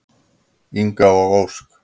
Inga og Ósk.